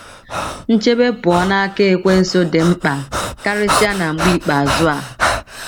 * Nchebe pụọ n’aka Ekwensu dị mkpa karịsịa na mgbe ikpeazụ a.